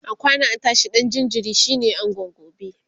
akwana a tashi ɗan jinjiri shine angon gobe